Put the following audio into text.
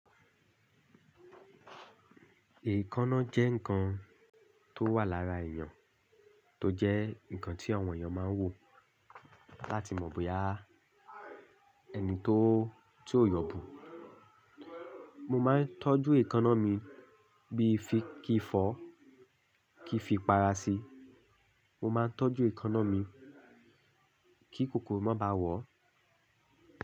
Èékánná jẹ́ nǹkan tó wà lára èèyàn, tó jẹ́ nǹkan tí àwọn èèyàn máa ń wò láti mọ̀ bóyá ẹni tó ti ó yọ̀bù. Mo máa ń tọ́jú èékánná mi bíi fi kí fọ́, kí fi para sí. Mo máa ń tọ́jú èékánná mi kí kòkòrò má baà wọ̀.